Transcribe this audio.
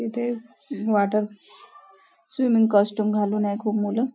इथे water swimming costume घालून आहेत खूप मुलं.